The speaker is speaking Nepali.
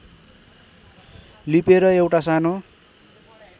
लिपेर एउटा सानो